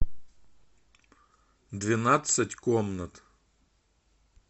двенадцать комнат